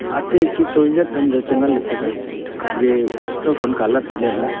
aate ik toilet lan jao chi nganle taga ge kauthon colour phai letla.